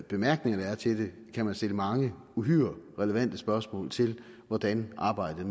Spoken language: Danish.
bemærkninger der er til det kan stille mange uhyre relevante spørgsmål til hvordan arbejdet